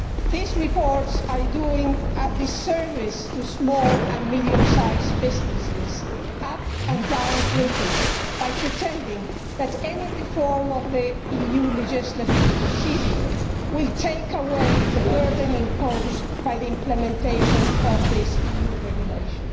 These reports are doing a disservice to small and medium sized businesses up and down Britain by pretending that any reform of the EU legislative procedure will take away the burden imposed by the implementation of EU regulation.